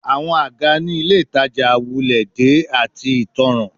Awọn aga ni Ile Itaja wulẹ de ati itanran